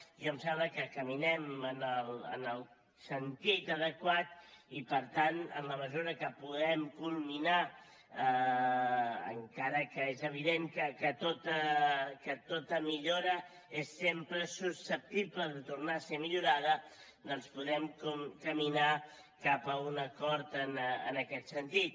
a mi em sembla que caminem en el sentit adequat i per tant en la mesura que podem culminar encara que és evident que tota millora és sempre susceptible de tornar a ser millorada doncs podem caminar cap a un acord en aquest sentit